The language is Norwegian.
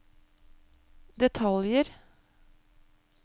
detaljer